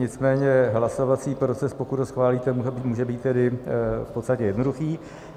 Nicméně hlasovací proces, pokud ho schválíte, může být tedy v podstatě jednoduchý.